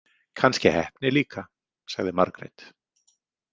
Kannski heppni líka, sagði Margrét.